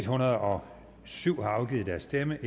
hundrede og syv har afgivet deres stemme